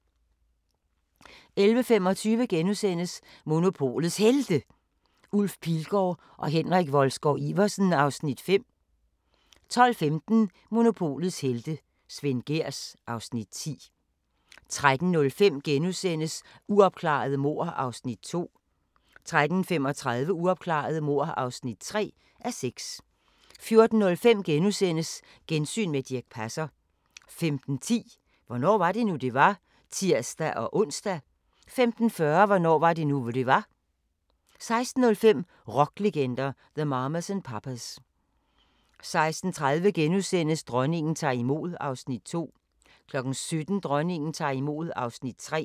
11:25: Monopolets Helte – Ulf Pilgaard og Henrik Wolsgaard-Iversen (Afs. 5)* 12:15: Monopolets helte - Svend Gehrs (Afs. 10) 13:05: Uopklarede mord (2:6)* 13:35: Uopklarede mord (3:6) 14:05: Gensyn med Dirch Passer * 15:10: Hvornår var det nu, det var? *(tir-ons) 15:40: Hvornår var det nu, det var? 16:05: Rocklegender – The Mamas and Papas 16:30: Dronningen tager imod (Afs. 2)* 17:00: Dronningen tager imod (Afs. 3)